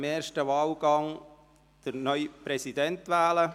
Im ersten Wahlgang wählen wir vorab den neuen Präsidenten.